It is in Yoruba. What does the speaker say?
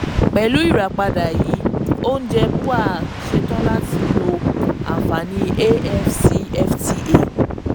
pẹ̀lú ìràpadà yìí oúnjẹ bua ṣetán láti lo àfààní afcfta.